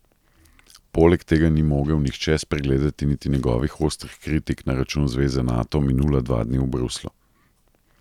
Poleg tega ni mogel nihče spregledati niti njegovih ostrih kritik na račun zveze Nato minula dva dni v Bruslju.